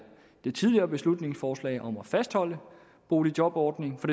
det tidligere beslutningsforslag om at fastholde boligjobordningen for